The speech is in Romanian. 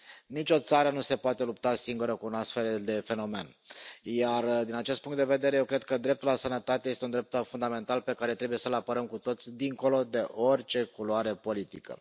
Nicio țară nu se poate lupta singură cu un astfel de fenomen, iar, din acest punct de vedere, eu cred că dreptul la sănătate este un drept fundamental pe care trebuie să l apărăm cu toții, dincolo de orice culoare politică.